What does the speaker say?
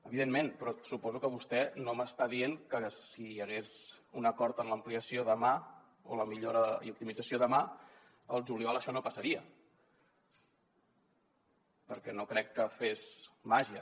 evidentment però suposo que vostè no m’està dient que si hi hagués un acord per a l’ampliació demà o la millora i optimització demà al juliol això no passaria perquè no crec que fes màgia